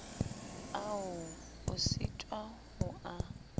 ao o sitwang ho a